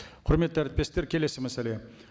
құрметті әріптестер келесі мәселе